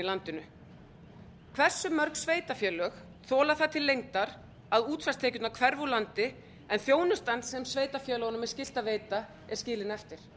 landinu hversu mörg sveitarfélög þola það til lengdar að útsvarstekjurnar hverfi úr landi en þjónustan sem sveitarfélögunum er skylt að veita er skilin eftir